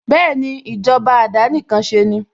Bẹ́ẹ̀ni, ìjọba àdánìkanṣeni